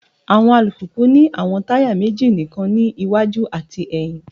Awọn alupupu ni awọn taya meji nikan ni iwaju ati ẹhin